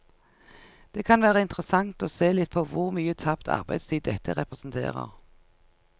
Det kan være interessant å se litt på hvor mye tapt arbeidstid dette representerer.